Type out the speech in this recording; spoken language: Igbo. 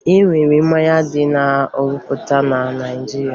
E nwere mmanya ndị a na-arụpụta na Naịjirịa